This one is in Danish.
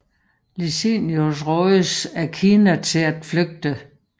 Licinius rådes af Cinna til at flygte